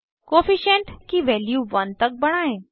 coefficient की value 1 तक बढ़ाएं